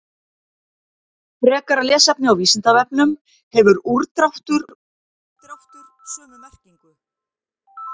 Frekara lesefni á Vísindavefnum: Hefur úrdráttur og útdráttur sömu merkingu?